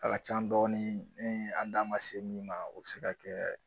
A ka ca dɔɔnin min an da ma se min ma o be se ka kɛ